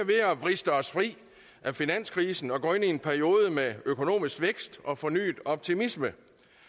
vriste os fri af finanskrisen og går ind i en periode med økonomisk vækst og fornyet optimisme